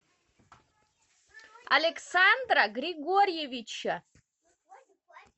александра григорьевича